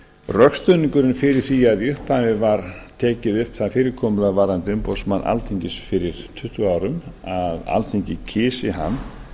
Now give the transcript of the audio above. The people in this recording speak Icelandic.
rökstuðningurinn fyrir því að í upphafi var tekið upp það fyrirkomulag varðandi umboðsmann alþingis fyrir tuttugu árum að alþingi kysi hann